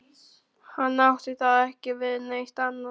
Hann átti þá ekki við neitt annað.